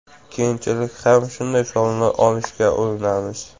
Keyinchalik ham shunday sovrinlar olishga urinamiz.